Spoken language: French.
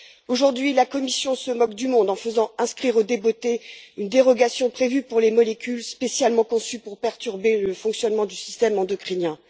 Aujourd'hui, la Commission se moque du monde en faisant inscrire au débotté une dérogation concernant des molécules spécialement conçues pour perturber le fonctionnement du système endocrinien.